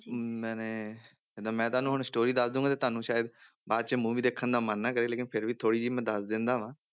ਮੈਨੇ ਤੇ ਮੈਂ ਤੁਹਾਨੂੰ ਹੁਣ story ਦੱਸ ਦਊਂਗਾ ਤੇ ਤੁਹਾਨੂੰ ਸ਼ਾਇਦ ਬਾਅਦ 'ਚ movie ਦੇਖਣ ਦਾ ਮਨ ਨਾ ਕਰੇ ਲੇਕਿੰਨ ਫਿਰ ਵੀ ਥੋੜ੍ਹੀ ਜਿਹੀ ਮੈਂ ਦੱਸ ਦਿੰਦਾ ਹਾਂ।